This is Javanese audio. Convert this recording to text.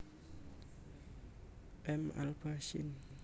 M alba syn